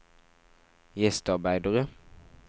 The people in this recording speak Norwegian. gjestearbeidere